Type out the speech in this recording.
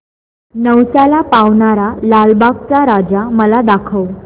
नवसाला पावणारा लालबागचा राजा मला दाखव